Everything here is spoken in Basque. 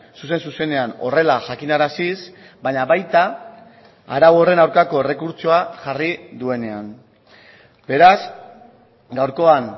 zuzen zuzenean horrela jakinaraziz baina baita arau horren aurkako errekurtsoa jarri duenean beraz gaurkoan